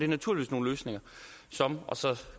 naturligvis nogle løsninger som og så